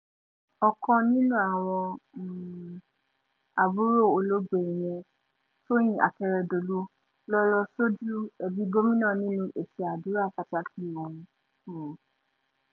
ọ̀kan nínú àwọn um àbúrò olóògbé ìyẹn tóyin akérèdọ́lù ló lọ́ọ́ sojú ẹbí gómìnà nínú ètò àdúrà pàtàkì ọ̀hún um